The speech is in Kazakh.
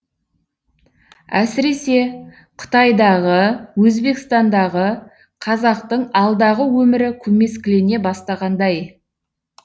әсіресе қытайдағы өзбекстандағы қазақтың алдағы өмірі көмескілене бастағандай